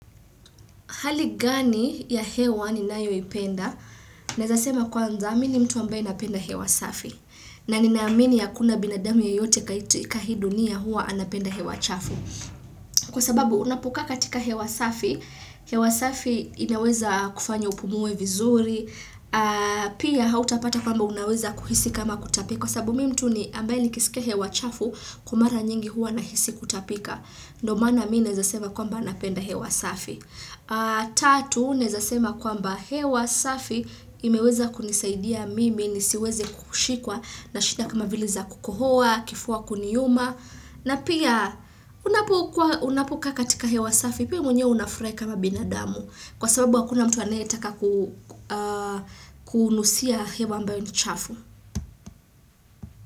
Hali gani ya hewa ni nayo ipenda? Naeza sema kwanza, mini mtu ambaye napenda hewa safi. Na ninaamini ha kuna binadamu yeyote kat ikahiidunia hua anapenda hewa chafu. Kwa sababu unapokaa katika hewa safi, hewa safi inaweza kufanya upumue vizuri, pia hautapata kwamba unaweza kuhisi kama kutapika. Kwa sababu mi ni mtu ambaye nikisikia hewa chafu kwa mara nyingi huwa nahisi kutapika. Ndiomaana mi naeza sema kwamba napenda hewa safi. Tatu naezasema kwa mba hewa safi imeweza kunisaidia mimi nisiweze kushikwa na shida kama vile za kukohoa, kifua kuniuma na pia unapokaa katika hewa safi pia mwenyewe unafurahi kama binadamu kwa sababu hakuna mtu anayetaka kunusia hewa ambayo nichafu.